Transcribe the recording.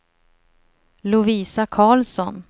Lovisa Karlsson